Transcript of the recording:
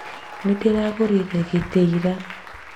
Nĩndĩragũrire gĩtĩ ira